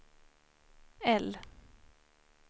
L